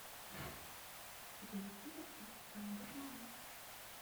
где находится тандырман